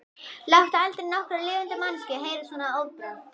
Láttu aldrei nokkra lifandi manneskju heyra svona orðbragð.